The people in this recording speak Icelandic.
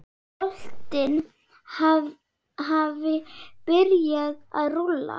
Boltinn hafi byrjað að rúlla.